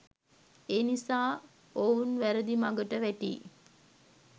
එනිසා ඔවුන් වැරදි මගට වැටී